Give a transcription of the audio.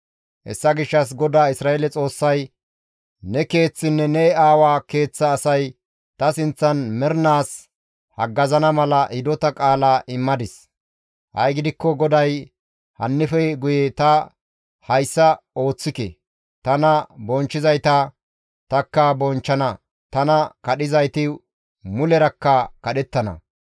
«Hessa gishshas GODAA Isra7eele Xoossay, ‹Ne keeththinne ne aawa keeththa asay ta sinththan mernaas haggazana mala hidota qaala immadis; ha7i gidikko GODAY hannife guye ta hayssa ooththike;› tana bonchchizayta takka bonchchana; tana kadhizayti mulerakka kadhettana.